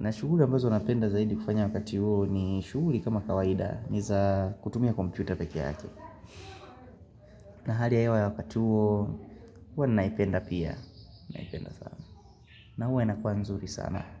na shuguri mbezo unapenda zaidi kufanya wakati uo ni shuguri kama kawaida niza kutumia kompyuta peke yake na hali ya hewa ya wakati uo Uwa naipenda pia Naipenda sana na uwa inakuwa nzuri sana.